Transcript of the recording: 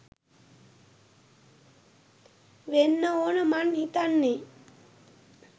වෙන්න ඕන මං හිතන්නේ!